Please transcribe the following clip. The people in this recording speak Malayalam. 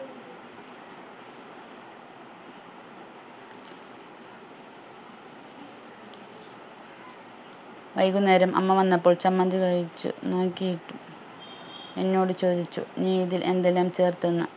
വൈകുന്നേരം അമ്മ വന്നപ്പോൾ ചമ്മന്തി കഴിച്ചു നോക്കിയിട്ട് എന്നോട് ചോദിച്ചു നീ ഇതിൽ എന്തെല്ലാം ചേർത്തെന്ന്